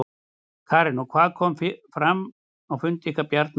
Karen: Og hvað kom fram á fundi ykkar Bjarna í dag?